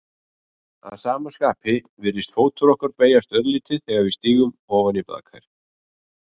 Að sama skapi virðist fótur okkar beygjast örlítið þegar við stígum ofan í baðker.